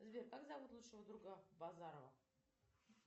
сбер как зовут лучшего друга базарова